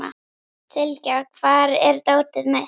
Sylgja, hvar er dótið mitt?